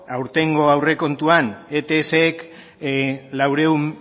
aurten aurrekontuan ets k laurehun